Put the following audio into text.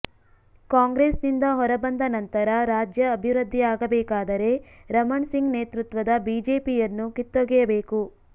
ಕಾಂಗ್ರೆಸ್ ನಿಂದ ಹೊರಬಂದ ನಂತರ ರಾಜ್ಯ ಅಭಿವೃದ್ಧಿಯಾಗಬೇಕಾದರೆ ರಮಣ್ ಸಿಂಗ್ ನೇತೃತ್ವದ ಬಿಜೆಪಿಯನ್ನು ಕಿತ್ತೊಗೆಯಬೇಕು